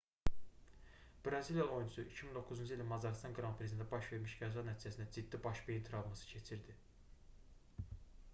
braziliyalı oyunçu 2009-cu ilin macarıstan qran-prisində baş vermiş qəza nəticəsində ciddi baş beyin travması keçirdi